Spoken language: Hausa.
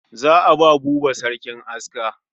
Za a ba Buba sarkin aska.